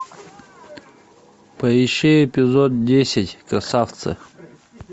поищи эпизод десять красавцы